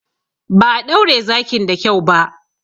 Ba a ɗaure zakin da kyau ba.